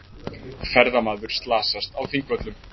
Ferðamaður slasast á Þingvöllum